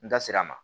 N da sera a ma